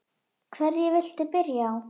Hverju viltu byrja á?